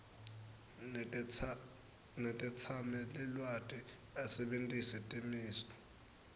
netetsamelilwati asebentisa timiso